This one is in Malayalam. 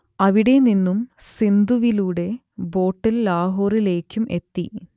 അവിടെ നിന്നും സിന്ധുവിലൂടെ ബോട്ടിൽ ലാഹോറിലേക്കും എത്തി